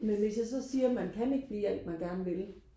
men hvis jeg så siger man kan ikke blive alt man gerne vil